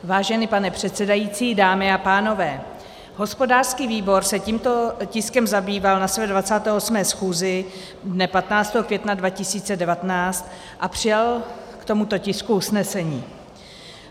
Vážený pane předsedající, dámy a pánové, hospodářský výbor se tímto tiskem zabýval na své 28. schůzi dne 15. května 2019 a přijal k tomuto tisku usnesení.